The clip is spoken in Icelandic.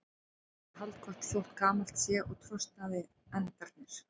Sér að það er haldgott þótt gamalt sé og trosnaðir endarnir.